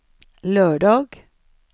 lördag